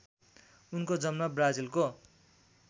उनको जन्म ब्राजिलको